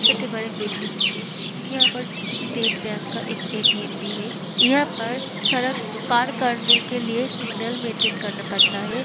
छोटे बड़े बिल्डिंग से यहाँ पर स स स्टेट बैंक का एक ए.टी.एम. भी है यहाँ पर सड़क पार करने के लिए सिग्नल मेंटेन करना पड़ता है।